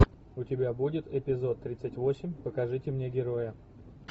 у тебя будет эпизод тридцать восемь покажите мне героя